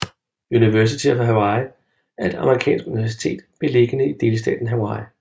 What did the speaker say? University of Hawaii er et Amerikansk universitet beliggende i delstaten Hawaii